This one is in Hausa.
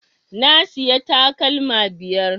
Na siya takalma biyar